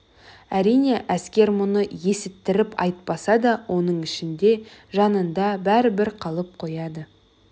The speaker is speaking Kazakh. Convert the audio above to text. әрине әскер мұны есіттіріп айтпаса да оның ішінде жанында бәрібір қалып қояды